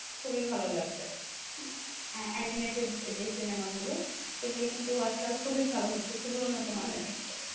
খুবই ভালো লাগবে animated যে সিনেমা গুলো সেগুলো কিন্তু আজকাল খুবই ভালো হচ্ছে খুবই উন্নত মানের হচ্ছে,